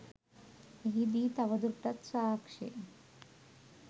එහිදී තවදුරටත් සාක්ෂි